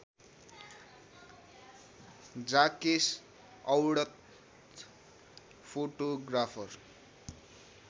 जाकेस Audet photographer